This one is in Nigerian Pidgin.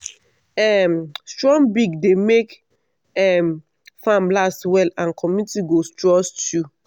um strong breed dey make um farm last well and community go trust you.